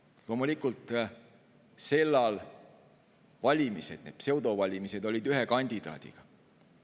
Loomulikult, sellal olid valimised, need pseudovalimised, ainult ühe kandidaadiga.